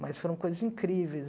Mas foram coisas incríveis.